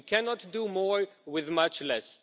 We cannot do more with much less.